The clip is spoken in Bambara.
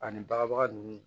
Ani baga ninnu